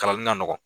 Kalan ka nɔgɔn